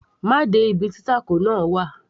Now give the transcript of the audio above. má de ibi tí tacos náà wà